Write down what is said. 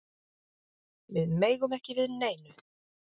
Við megum ekki við neinu